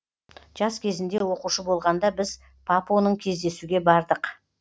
жас кезінде оқушы болғанда біз папоның кездесуге бардық